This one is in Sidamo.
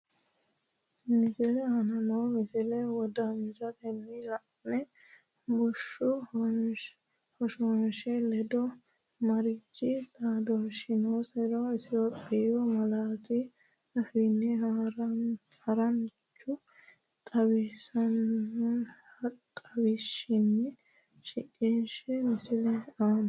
Misile aana noo misile wodanchitine la’ine bushshu hoshoosha- ledo mariachi xaadisannonsaro Itophiyu malaatu afiinni haran- chu xawishshinni shiqishshe Misile aana.